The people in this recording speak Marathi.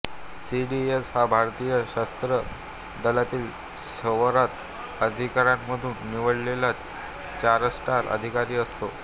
सीडीएस हा भारतीय सशस्त्र दलातील सेवारत अधिकाऱ्यांमधून निवडलेला चारस्टार अधिकारी असतो